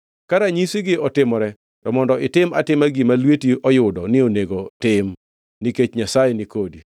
Ka ranyisi otimore to mondo itim atima gima lweti oyudo ni onego tim; nikech Nyasaye ni kodi.